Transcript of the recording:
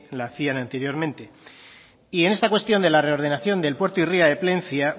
lo hacían anteriormente y en esta cuestión de la reordenación del puerto y ría de plencia